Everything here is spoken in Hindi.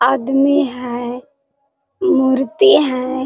आदमी है मूर्ति है।